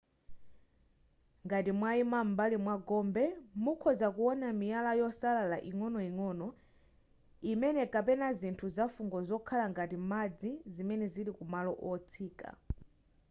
ngati mwayima m'mbali mwa gombe mukhoza kuwona miyala yosalala ing'onoing'ono imene kapena zinthu zafungo zokhala ngati madzi zimene zili ku malo otsika